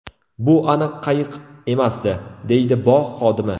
Bu aniq qayiq emasdi”, deydi bog‘ xodimi.